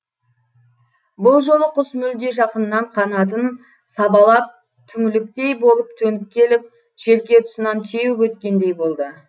бұл жолы құс мүлде жақыннан қанатын сабалап түңліктей болып төніп келіп желке тұсынан теуіп өткендей болды